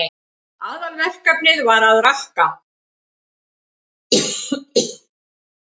Aðalverkefnið var að rakka.